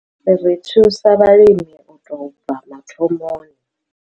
Ri thusa vhalimi u tou bva mathomoni.